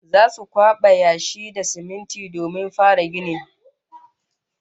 Zasu kwaba yashi da siminti domin fara ginin